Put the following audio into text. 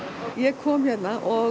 ég kom hérna og